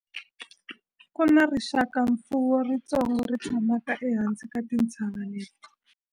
ku na rixakamfuwo ritsongo ri tshamaka ehansi ka tintshava leti